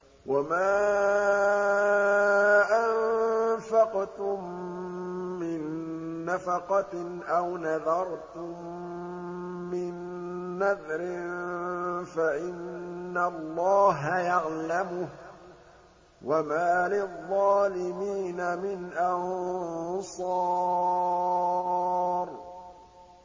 وَمَا أَنفَقْتُم مِّن نَّفَقَةٍ أَوْ نَذَرْتُم مِّن نَّذْرٍ فَإِنَّ اللَّهَ يَعْلَمُهُ ۗ وَمَا لِلظَّالِمِينَ مِنْ أَنصَارٍ